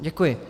Děkuji.